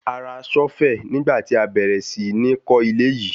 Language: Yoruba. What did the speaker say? A ra ṣọ́fẹ̀ nígbà tí a bẹ̀rẹ̀ sí ní kó ilé yìí.